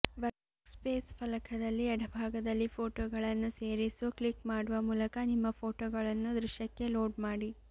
workspace ಫಲಕದಲ್ಲಿ ಎಡಭಾಗದಲ್ಲಿ ಫೋಟೋಗಳನ್ನು ಸೇರಿಸು ಕ್ಲಿಕ್ ಮಾಡುವ ಮೂಲಕ ನಿಮ್ಮ ಫೋಟೋಗಳನ್ನು ದೃಶ್ಯಕ್ಕೆ ಲೋಡ್ ಮಾಡಿ